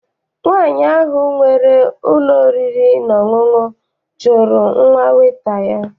Nwaanyi ahụ nwere ụlọ oriri na ọṅụṅụ chụrụ nwa weta ya.